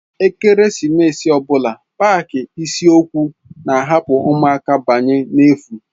Ekeresimesi ọ bụla paaki isiokwu na-ahapu ụmụaka banye n'efu.